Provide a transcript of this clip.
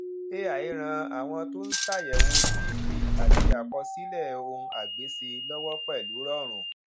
ai ràn àwọn tó ń ṣàyẹwò cv àti àkọsílẹ ohunagbéṣe lọwọ pẹlú rọrùn